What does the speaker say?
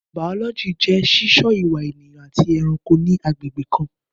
Bàọlọjí jẹ sí sọ ìwá ẹyàn àtí ẹrànkó ní àgbegbe kan